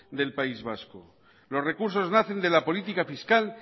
del país vasco los recursos nacen de la política fiscal